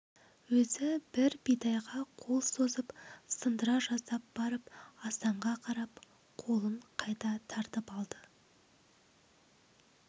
өзі бір бидайға қол созып сындыра жаздап барып асанға қарап қолын қайта тартып алды